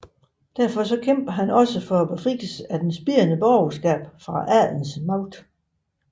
Derfor kæmpede han også for befrielsen af det spirende borgerskab fra adelens magt